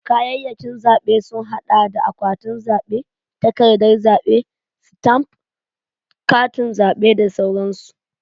Kayayyakin zabe sun hada da akwatin zabe, takardan zabe, stamf, Katin zabe da sauransu.